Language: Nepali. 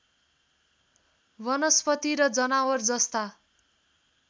वनस्पति र जनावर जस्ता